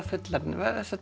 fullorðin